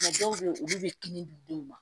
dɔw bɛ yen olu bɛ kini di denw ma